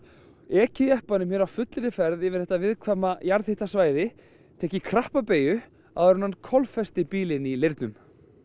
ekið jeppanum á fullri ferð yfir þetta viðkvæma jarðhitasvæði tekið krappa beygju áður en hann bílinn í leirnum